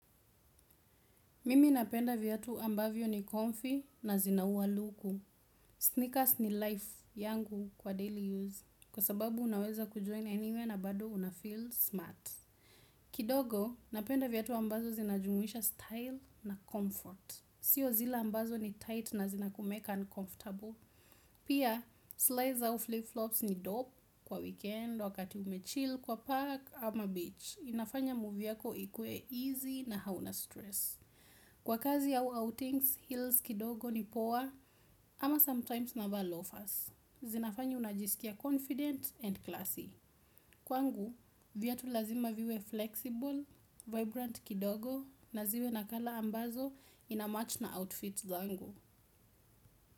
Mimi napenda viatu ambavyo ni comfy na zinaua luku. Sneakers ni life yangu kwa daily use kwa sababu unaweza kujoin anywhere na bado unafeel smart. Kidogo, napenda viatu ambazo zinajumuisha style na comfort. Sio zile ambazo ni tight na zina kumake uncomfortable. Pia, slides au flip flops ni dope kwa weekend, wakati umechill, kwa park ama beach. Inafanya movie yako ikue easy na hauna stress. Kwa kazi au outings, heels kidogo ni poa, ama sometimes navaa loafers. Zinafanya unajisikia confident and classy. Kwangu, viatu lazima viwe flexible, vibrant kidogo, na ziwe na color ambazo inamatch na outfit zangu.